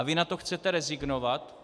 A vy na to chcete rezignovat?